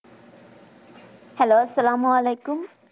Hello আস্সালামুআলাইকুম